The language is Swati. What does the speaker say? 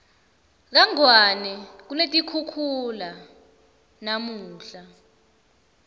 kangwane kunetikhukhula namunla